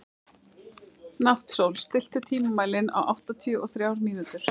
Náttsól, stilltu tímamælinn á áttatíu og þrjár mínútur.